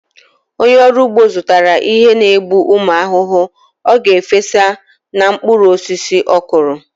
Onye ọrụ ugbo zụtara ihe n'egbu ụmụ ahụhụ ọ ga-efesa na mkpụrụ osisi ọkụrụ.